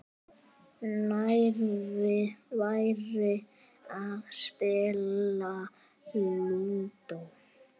Nær væri að spila Lúdó.